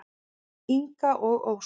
Inga og Ósk.